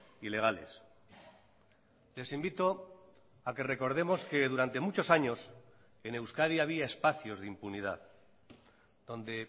ilegales les invito a que recordemos que durante muchos años en euskadi había espacios de impunidad donde